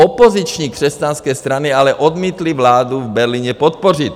Opoziční křesťanské strany ale odmítly vládu v Berlíně podpořit.